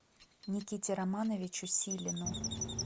никите романовичу силину